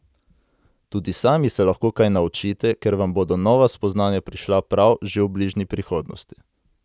Tudi sami se lahko kaj naučite, ker vam bodo nova spoznanja prišla prav že v bližnji prihodnosti.